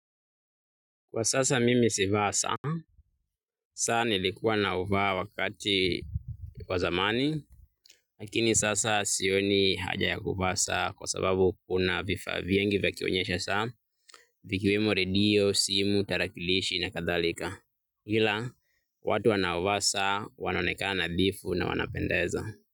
Kwa sasa mimi sivai saa, saa nilikuwa navaa wakati wa zamani lakini sasa sioni haja ya kuvaa saa kwa sababu kuna vifaa vingi vya kuonyesha saa ikiwemo redio, simu, tarakilishi na kadhalika ila watu wanaovaa saa wanaonekana nadhifu na wanapendeza.